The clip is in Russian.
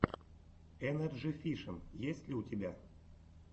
энерджи фишин есть ли у тебя